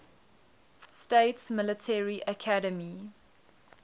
states military academy